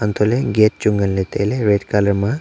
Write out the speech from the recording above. antoh ley gate chu nganle taile red colour ma.